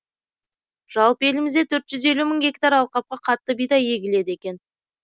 жалпы елімізде төрт жүз елу мың гектар алқапқа қатты бидай егіледі екен